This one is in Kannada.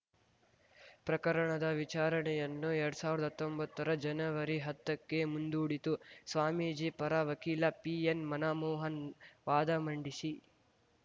ಪ್ರಕರಣದ ವಿಚಾರಣೆಯನ್ನು ಎರಡ್ ಸಾವಿರ್ದಾ ಹತ್ತೊಂಬತ್ತರ ಜನವರಿ ಹತ್ತಕ್ಕೆ ಮುಂದೂಡಿತು ಸ್ವಾಮೀಜಿ ಪರ ವಕೀಲ ಪಿಎನ್‌ ಮನಮೋಹನ್‌ ವಾದ ಮಂಡಿಸಿ